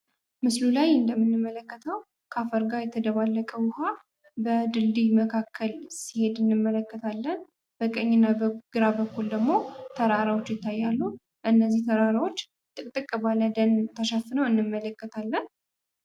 ምስሉ ላይ እንደምንመለከተው ከአፈር ጋ የተደባለቀ ውሃ በድልድይ መካከል ሲሄድ እንመለከታለን። በቀኝና በግራ በኩል ደግሞ ተራሮች ይታያሉ እነዚህ ተራሮች ጥቅጥቅ ባለ ደን ተሸፍነው እንመለከታለን።